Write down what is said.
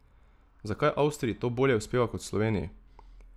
Zakaj Avstriji to bolje uspeva kot Sloveniji?